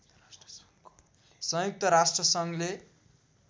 संयुक्त राष्ट्र सङ्घले